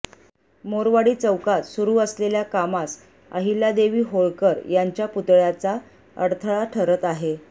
मोरवाडी चौकात सुरू असलेल्या कामास अहल्यादेवी होळकर यांच्या पुतळ्याचा अडथळा ठरत आहे